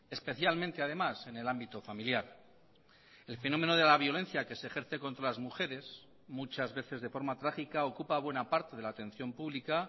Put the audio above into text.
especialmente además en el ámbito familiar el fenómeno de la violencia que se ejerce contra las mujeres muchas veces de forma trágica ocupa buena parte de la atención pública